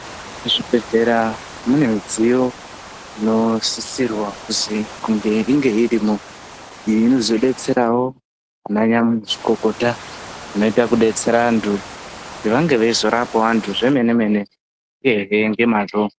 Kuzvibhedhlera kune midziyo inosisirwa kuti inge irimwoiyi inozodetserawo ana mazvikokota anoia kudetsera anthu kuti ange eizorapa anthu zvemene- mene uye ngemwazvo.